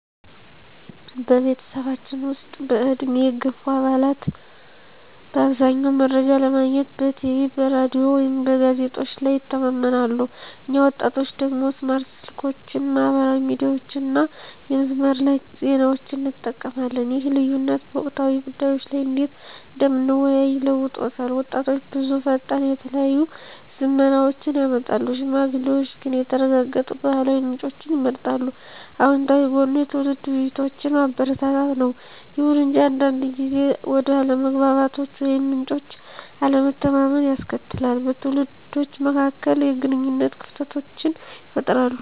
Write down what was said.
በቤተሰባችን ውስጥ፣ በዕድሜ የገፉ አባላት በአብዛኛው መረጃ ለማግኘት በቲቪ፣ በራዲዮ ወይም በጋዜጦች ላይ ይተማመናሉ፣ እኛ ወጣቶቹ ደግሞ ስማርት ስልኮችን፣ ማህበራዊ ሚዲያዎችን እና የመስመር ላይ ዜናዎችን እንጠቀማለን። ይህ ልዩነት በወቅታዊ ጉዳዮች ላይ እንዴት እንደምንወያይ ለውጦታል— ወጣቶች ብዙ ፈጣን፣ የተለያዩ ዝመናዎችን ያመጣሉ፣ ሽማግሌዎች ግን የተረጋገጡ ባህላዊ ምንጮችን ይመርጣሉ። አወንታዊ ጎኑ የትውልድ ውይይቶችን ማበረታታት ነው። ይሁን እንጂ አንዳንድ ጊዜ ወደ አለመግባባቶች ወይም ምንጮች አለመተማመንን ያስከትላል, በትውልዶች መካከል የግንኙነት ክፍተቶችን ይፈጥራል.